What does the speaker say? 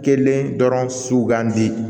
Kelen dɔrɔn sugandi